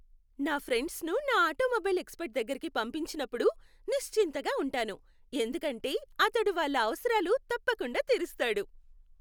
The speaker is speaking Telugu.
నా ఫ్రెండ్స్ను నా ఆటోమొబైల్ ఎక్స్పర్ట్ దగ్గరకి పంపించినప్పుడు నిశ్చింతగా ఉంటాను ఎందుకంటే అతడు వాళ్ళ అవసరాలు తప్పకుండా తీరుస్తాడు.